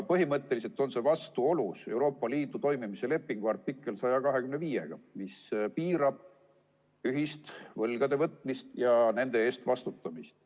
Põhimõtteliselt on see vastuolus Euroopa Liidu toimimise lepingu artikliga 125, mis piirab ühist võlgade võtmist ja nende eest vastutamist.